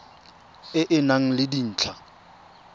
e e nang le dintlha